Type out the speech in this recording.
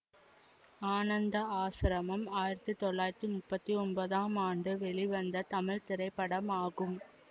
ஆனந்த ஆஸ்ரமம் ஆயிரத்தி தொள்ளாயிரத்தி முப்பத்தி ஒன்பதாம் ஆண்டு வெளிவந்த தமிழ் திரைப்படமாகும்